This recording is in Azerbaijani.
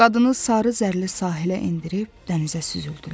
Qadını sarı zərrəli sahilə endirib dənizə süzüldülər.